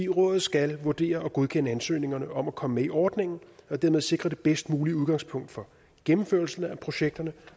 rådet skal vurdere og godkende ansøgningerne om at komme med i ordningen og dermed sikre det bedst mulige udgangspunkt for gennemførelsen af projekterne